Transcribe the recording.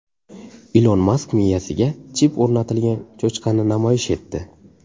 Ilon Mask miyasiga chip o‘rnatilgan cho‘chqani namoyish etdi .